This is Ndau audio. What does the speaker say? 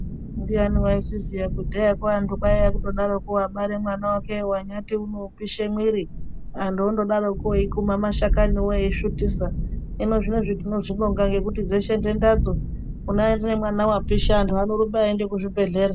Ndiani waizviziya kudhaya kwo kwaiya kundodaro kwo wabara mwana wake wanyati unopisha mwiri. Antu ondodarokwo okaya mashakani wo eisvutisa. Hino zvinezvi tinozvibonga eyaa ngekuti dzeshe nhenda dzo kunyari nemwana wapisha antu anorumba eienda kuzvibhendlera.